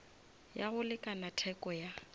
ya go lekana theko ya